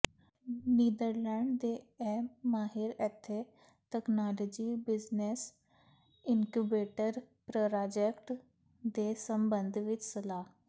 Netherland ਦੇ ਇਹ ਮਾਹਿਰ ਇੱਥੇ ਤਕਨਾਲੋਜੀ ਬਿਜ਼ਨੈਸ ਇੰਨਕੂਬੇਟਰ ਪ੍ਰਰਾਜੈਕਟ ਦੇ ਸਬੰਧ ਵਿਚ ਸਲਾਹ